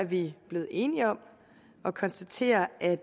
vi blevet enige om at konstatere at